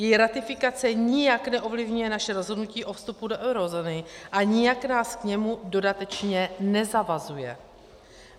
Její ratifikace nijak neovlivňuje naše rozhodnutí o vstupu do eurozóny a nijak nás k němu dodatečně nezavazuje.